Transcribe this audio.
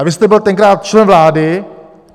A vy jste byl tenkrát člen vlády.